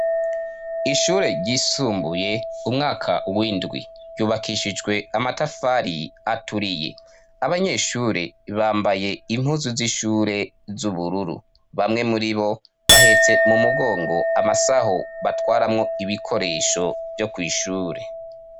Ishure ryisumbuye umwaka w'indwi ryubakishijwe amatafari aturiye abanyeshure bambaye impuzu z'ishure z'ubururu bamwe muribo bahetse mu mugongo amasaho batwaramwo ibikoresho vyo kwishure.